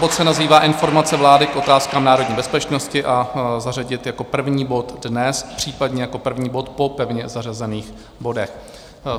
Bod se nazývá Informace vlády k otázkám národní bezpečnosti a zařadit jako první bod dnes, případně jako první bod po pevně zařazených bodech.